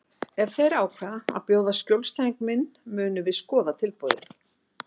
Ef þeir ákveða að bjóða í skjólstæðing minn munum við skoða tilboðið